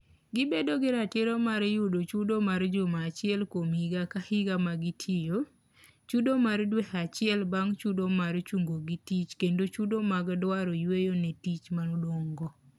Gibiro bedo gi ratiro mar yudo chudo mar juma achiel kuom higa ka higa ma gitiyo, chudo mar dwe acheil bang' chudo mar chungogi tich kendo chudo mag dalo yweyo ne tich manodong'.